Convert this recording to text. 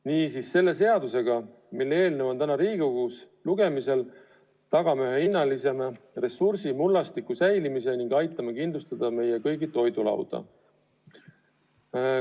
Niisiis, selle seadusega, mille eelnõu on täna Riigikogus lugemisel, me tagame ühe hinnalisema ressursi, mullastiku säilimise ning aitame kindlustada meie kõigi toidulauda.